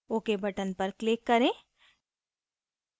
ok button पर click करें